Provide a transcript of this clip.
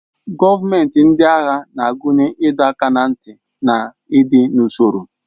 Gọọmenti ndị agha na-akụnye ịdọ aka ná ntị na ịdị n'usoro.